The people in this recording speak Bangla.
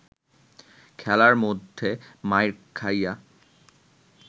খেলার মধ্যে মাইর খাইয়া